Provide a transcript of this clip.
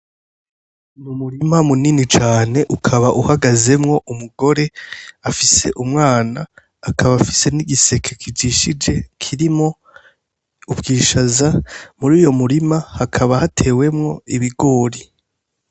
Mu murima munini cane ukaba uhagazemwo umugore afise umwana akaba afise n'igiseke kijishije kirimo ubwishaza muri uyo murima hakaba hatewemwo ibigori.